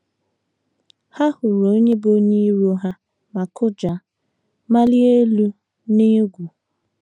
Ha hụrụ onye bụ́ onye iro ha ma kụja, malie elu n’egwu.